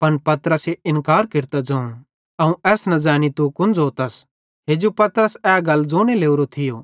पन पतरसे इन्कार केरतां ज़ोवं अवं एस न ज़ैनी तू कुन ज़ोतस हेजू पतरसे ए गल ज़ोने लोरो थियो